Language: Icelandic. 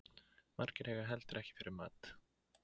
Margir eiga heldur ekki fyrir mat